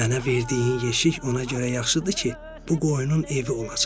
Mənə verdiyin yeşik ona görə yaxşıdır ki, bu qoyunun evi olacaq.